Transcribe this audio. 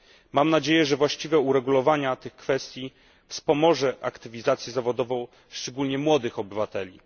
Mam nadzieję, że właściwe uregulowanie tych kwestii wspomoże aktywizację zawodową, szczególnie młodych obywateli.